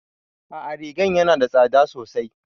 A'a rigan yana da tsada sosai